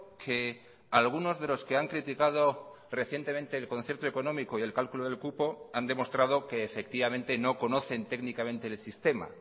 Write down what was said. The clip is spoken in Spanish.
que algunos de los que han criticado recientemente el concierto económico y el cálculo del cupo han demostrado que efectivamente no conocen técnicamente el sistema